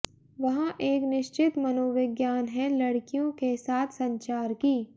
वहाँ एक निश्चित मनोविज्ञान है लड़कियों के साथ संचार की